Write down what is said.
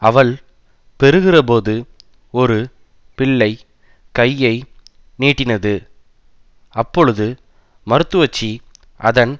அவள் பெறுகிறபோது ஒரு பிள்ளை கையை நீட்டினது அப்பொழுது மருத்துவச்சி அதன்